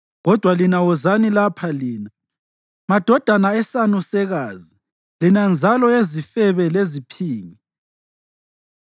“Kodwa lina wozani lapha lina, madodana esanusekazi lina nzalo yezifebe leziphingi!